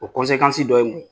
O kɔnsekansi dɔ ye mun ye